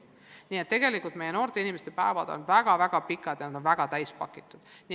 Nii et tegelikult meie noorte inimeste päevad on väga-väga pikad, väga pingelised.